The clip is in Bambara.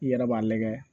I yɛrɛ b'a lajɛ